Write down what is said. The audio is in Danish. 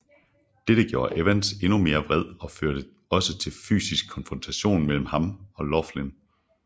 Dette gjorde Evans endnu mere vred og førte også til fysisk konfrontation mellem ham og Laughlin